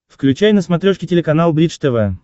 включай на смотрешке телеканал бридж тв